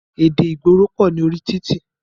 Èdè ìgboro pọ̀ ní orí títì.